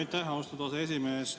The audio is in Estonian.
Aitäh, austatud aseesimees!